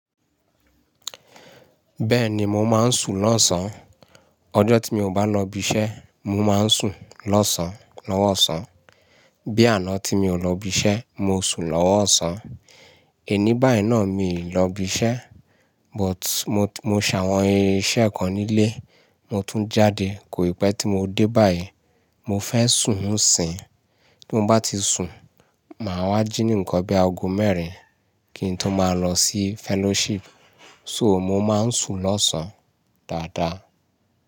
Bẹ́ẹ̀ni, mo máa ń sùn lọ́sàn. Ọjọ́ tí mi ò bá lọ ibi iṣẹ́, mo máa ń sùn lọ́sàn lọ́wọ́ ọ̀sán. Bí àná tí mi ò lọ ibi iṣẹ́, mo sùn lọ́wọ́ ọ̀sán. Ẹni báì náà mi ò lọ ibi iṣẹ́, but mo ṣàwọn iṣẹ́ kan nílé, mo tún jáde. Kò ì pẹ́ tí mo dé báì, mo fẹ́ sùn ńsìn. Ti mo bá ti sùn, màá wá jí ní ǹkan bí ago mẹ́rin kí n tó máa lọ sí fellowship. So mo máa ń sùn lọ́sàn dáadáa.